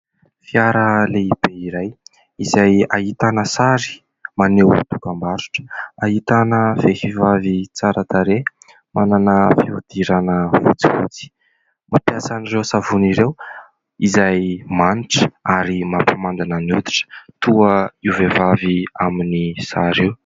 Fiara lehibe iray izay ahitana sary maneho dokam-barotra ahitana vehivavy tsara tarehy, manana fiodirana fotsifotsy; mampiasa ireo savony ireo izay manitra ary mampamandina ny hoditra toa io vehivavy amin'ny sary io.